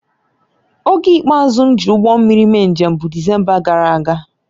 Oge ikpeazụ m ji ụgbọ mmiri mee njem bụ Disemba gara aga